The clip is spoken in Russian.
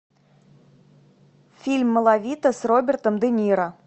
фильм малавита с робертом де ниро